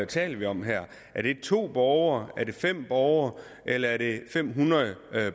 taler vi om her er det to borgere er det fem borgere eller er det fem hundrede